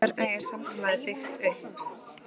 Hvernig er samfélagið byggt upp?